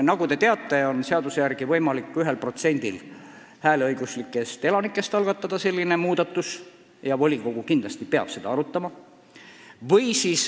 Nagu te teate, on seaduse järgi võimalik vähemalt 1%-l hääleõiguslikest elanikest selline muudatus algatada ja volikogu peab seda kindlasti arutama.